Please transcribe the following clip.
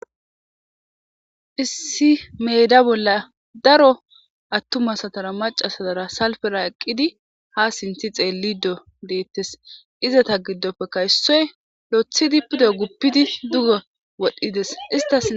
issi meeda bolla daro attuma asatara maca asaara salfera eqqidi ha sinthi xeellido deettes izata giddoppeka issoy loothidi pudo guppidi dugo wodhdhides istas